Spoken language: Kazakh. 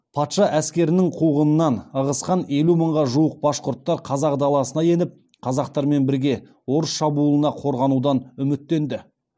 патша әскерінің қуғынынан ығысқан елу мыңға жуық башқұрттар қазақ даласына еніп қазақтармен біріге орыс шабуылынан қорғанудан үміттенді